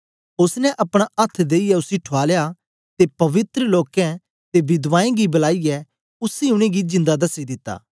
ओसने अपना अथ्थ देईयै उसी ठुआलया ते पवित्र लोकें ते बिधवाएं गी बलाईयै उसी उनेंगी जिंदा दसी दिता